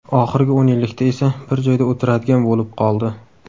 Oxirgi o‘n yillikda esa bir joyda o‘tiradigan bo‘lib qoldi.